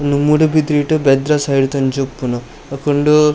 ಉಂದು ಮೂಡುಬಿದ್ರೆಡ್ ಬೆದ್ರ ಸೈಡ್ ದಂಚಿ ಇಪ್ಪುನು ಬೊಕ ಉಂಡೂ.